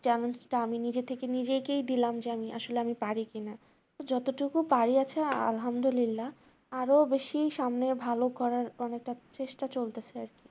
challenge টা আমি নিজে থেকে নিজেকেই দিলাম যে আমি আসলে আমি পারি কিনা যতটুকু পারি আছে আলহামদুলিল্লাহ। আরো বেশি সামনের ভালো করার অনেকটা চেষ্টা চলতেছে আর কি।